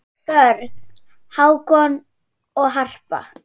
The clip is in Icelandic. Börn: Hákon og Harpa.